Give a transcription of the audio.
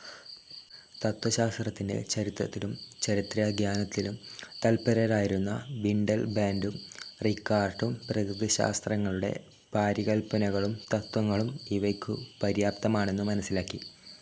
തത്വശാസ്ത്രത്തിൻ്റെ ചരിത്രത്തിലും ചരിത്രാഖ്യാനത്തിലും തല്പരരായിരുന്ന വിണ്ടൽബാൻ്റും റികാർട്ടും പ്രകൃതിശാസ്ത്രങ്ങളുടെ പാരികല്പനകളും തത്വങ്ങളും ഇവയ്ക്കു പര്യാപ്തമാണെന്നു മനസിലാക്കി.